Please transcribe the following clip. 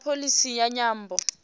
na pholisi ya nyambo